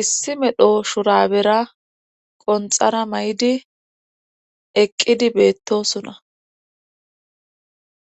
issi medho shurabera qonxara may7idi eqqidi beettosuna.